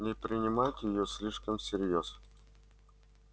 не принимайте её слишком всерьёз